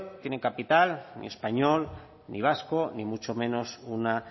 tiene capital ni español ni vasco ni mucho menos una